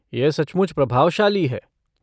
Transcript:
यह सचमुच प्रभावशाली है।